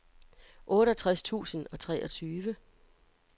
otteogtres tusind og treogtyve